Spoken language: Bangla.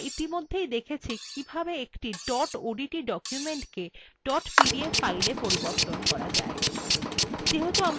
আমরা ইতিমধ্যেই দেখেছি কিভাবে একটি dot odt documentকে dot pdf filea পরিবর্তন করা যায়